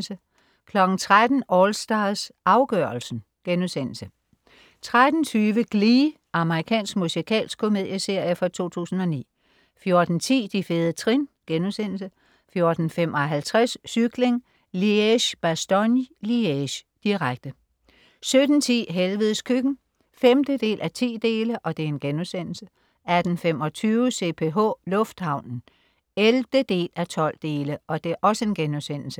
13.00 AllStars, afgørelsen* 13.20 Glee. Amerikansk musikalsk komedieserie fra 2009 14.10 De fede trin* 14.55 Cykling: Liege-Bastogne-Liege, direkte 17.10 Helvedes Køkken 5:10* 18.25 CPH, lufthavnen 11:12*